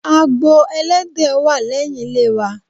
Agbo Ẹlẹ́dẹ̀ wà lẹ́yìn ilé wa.